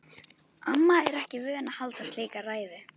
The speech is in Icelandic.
Amma er ekki vön að halda slíka ræðu.